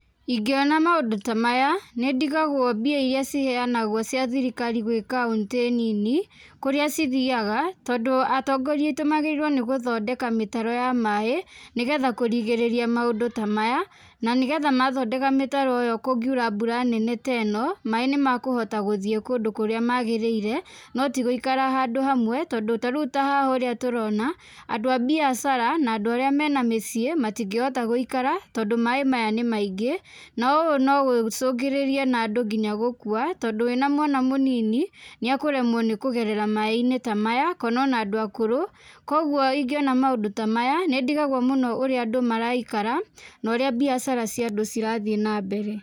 Ingĩona maũndũ ta maya, nĩ ndigagwo mbia iria ciheanagwo cia thirikari gwĩ kauntĩ nini kũrĩa cithiaga, tondũ atongoria aitũ magĩrĩirwo nĩ gũthondeka mĩtaro ya maĩ, nĩ getha kũrigĩrĩria maũndũ ta maya, na nĩ getha mathondeka mĩtaro ĩyo kũngiura mbura nene ta ĩno, maĩ nĩ makũhota gũthiĩ kũndũ kũrĩa magĩrĩire, no ti gũikara handũ hamwe tondũ tarĩu ta haha ũrĩa turona, andũ a biacara na andũ arĩa mena mĩciĩ, matingĩhota gũikara tondũ maĩ maya nĩ maingĩ. Na ũũ no gũcũngĩrĩrie na andũ nginya gũkua, tondũ wĩna mwana mũnini nĩ ekũremwo nĩ kũgerera maĩ-inĩ ta maya, kana ona andũ akũrũ. Kũguo ingĩona maũndũ ta maya, nĩ ndigagwo mũno ũrĩa andũ maraikara na ũrĩa mbiacara cia andũ cirathiĩ na mbere.